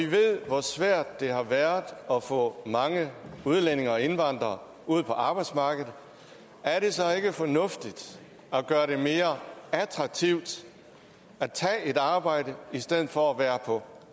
ved hvor svært det har været at få mange udlændinge og indvandrere ud på arbejdsmarkedet er det så ikke fornuftigt at gøre det mere attraktivt at tage et arbejde i stedet for at være på